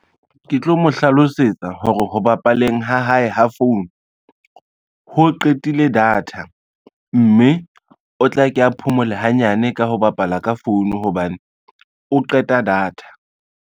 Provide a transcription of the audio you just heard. Ke tlo mo hlalosetsa hore ho bapaleng ha hae ha phone, ho qetile data mme o tla ke a phomole hanyane ka ho bapala ka phone hobane o qeta data.